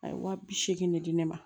A ye wa bi seegi ne di ne ma